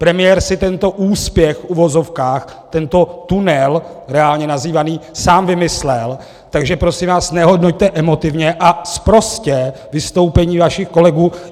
Premiér si tento úspěch, v uvozovkách, tento tunel reálně nazývaný, sám vymyslel, takže prosím vás nehodnoťte emotivně a sprostě vystoupení vašich kolegů!